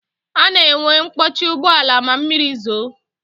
A na-enwe mkpọchi ụgbọala ma mmiri zoo